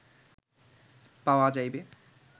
পাওয়া যাইবে